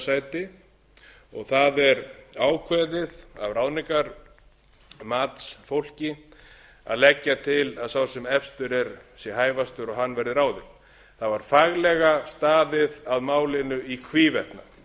sæti og það er ákveðið af ráðningarmatsfólki að leggja til að sá sem efstur er sé hæfastur og hann verði ráðinn það var faglega staðið að málinu í hvívetna það var